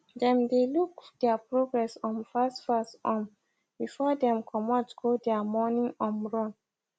them dae look their progress um fast fast um before dem comot go dia morning um run